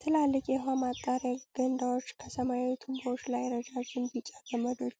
ትላልቅ የውሃ ማጣሪያ ገንዳዎች፣ ከሰማያዊ ቱቦዎች ላይ ረዣዥም ቢጫ ገመዶች